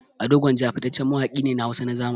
Ado Gwanja fitaccen mawaƙi ne na Hausa na zamani.